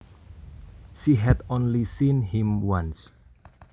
She had only seen him once